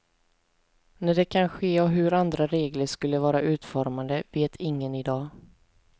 När det kan ske och hur andra regler skulle vara utformade vet ingen i dag.